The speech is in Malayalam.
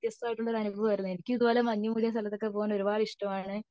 വളരെ വത്യസ്തനായ അനുഭവം ആയിരുന്നു എനിക്ക് ഇങ്ങനെ മഞ്ഞു കൂടിയ സ്ഥലത്തൊക്കെ പോവൻ ഒരുപാട് ഇഷ്ടമാണ്